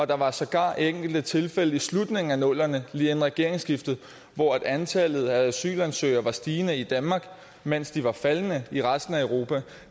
der var sågar enkelte tilfælde i slutningen af nullerne lige inden regeringsskiftet hvor antallet af asylansøgere var stigende i danmark mens de var faldende i resten af europa